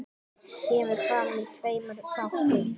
Kemur fram í tveimur þáttum.